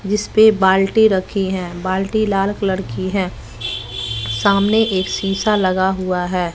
जिसपे बाल्टी रखी है बाल्टी लाल कलर की है सामने एक शीशा लगा हुआ है।